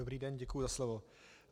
Dobrý den, děkuji za slovo.